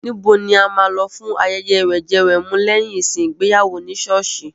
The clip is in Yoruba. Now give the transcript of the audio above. Ibo ni a máa lò fún ayẹyẹ wẹ̀jẹwẹ̀mu lẹ́yìn ìsìn ìgbéyàwó ní sọ́ọ̀sì?